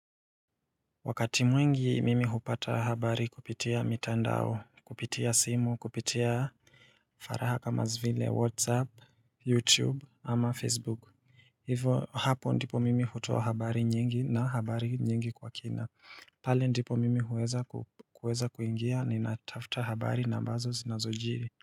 Wakati mwingi mimi hupata habari kupitia mitandao kupitia simu kupitia faraha kama zile whatsapp youtube ama facebook Hivo hapo ndipo mimi hutoa habari nyingi na habari nyingi kwa kina pale ndipo mimi huweza ku huweza kuingia ninatafuta habari na ambazo zinazojiri.